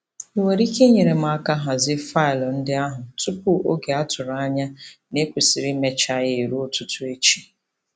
Ị nwere ike inyere m aka hazie faịlụ ndị ahụ tupu oge a tụrụ anya na e kwesịrị imecha ya eruo ụtụtụ echi?